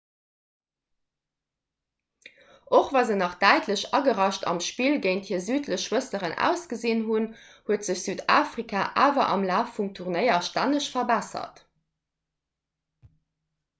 och wa se nach däitlech agerascht am spill géint hir südlech schwësteren ausgesinn hunn huet sech südafrika awer am laf vum turnéier stänneg verbessert